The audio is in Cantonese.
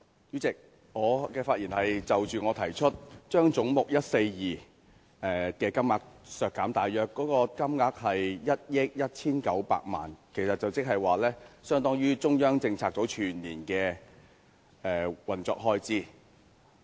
主席，我的發言是關於我提出的修正案，將總目142削減1億 1,900 萬元，大約相當於中央政策組全年的運作開支。